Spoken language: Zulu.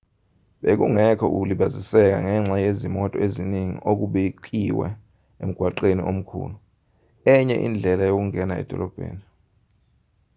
bekungekho ukulibaziseka ngenxa yezimoto eziningi okubikiwe emgwaqweni omkhulu enye indlela yokungena edolobheni